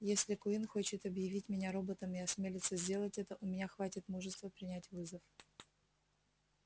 если куинн хочет объявить меня роботом и осмелится сделать это у меня хватит мужества принять вызов